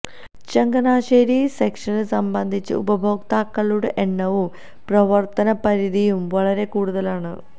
ചങ്ങനാശേരി സെക്ഷനെ സംബന്ധിച്ച് ഉപഭോക്താക്കളുടെ എണ്ണവും പ്രവര്ത്തന പരിധിയും വളരെ കൂടുതലാണ്